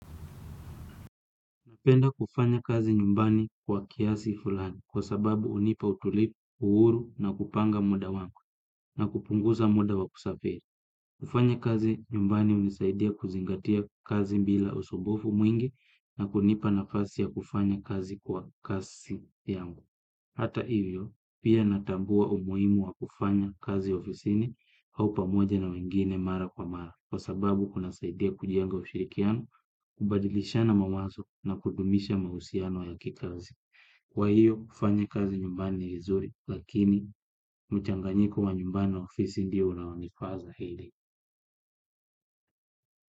Napenda kufanya kazi nyumbani kwa kiasi fulani kwa sababu unipa utulifu, uhuru na kupanga muda wangu na kupungusa muda wa kusafiri. Kufanya kazi nyumbani unisaidia kuzingatia kazi mbila usumbfu mwingi na kunipa nafasi ya kufanya kazi kwa kasi yangu. Hata hivyo, pia natambua umuhimu wa kufanya kazi ofisini au pamoja na wengine mara kwa mara, kwa sababu kuna saidia kujenga ushirikiano, kubadilishana mawazo na kudumisha mahusiano ya kikazi. Kwa hiyo, kufanya kazi nyumbani ni vizuri, lakini mchanganyiko wa nyumbani ofisi ndio unaonifa zaidi.